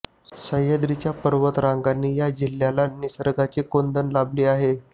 सह्याद्रीच्या पर्वतरांगांनी या जिल्ह्याला निसर्गाचे कोंदण लाभले आहे